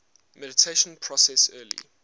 mediation process early